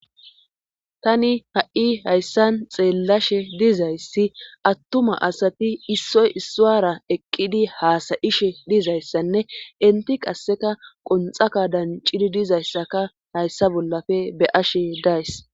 Tani ha7i hayssan xeellashe dizayssi attuma asati issoy isswara eqqidi haasayishe dizayssanne inti qasseka qonxaka dancidi dizayssaka hayssa bollafe be ashe days